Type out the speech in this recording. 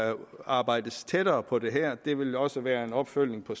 arbejdes tættere på det her det vil også være en opfølgning på